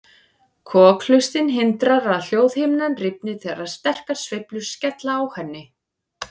Kokhlustin hindrar að hljóðhimnan rifni þegar sterkar sveiflur skella á henni.